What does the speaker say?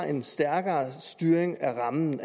en stærkere styring af rammen